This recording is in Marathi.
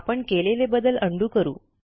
आपण केलेले बदल उंडो करू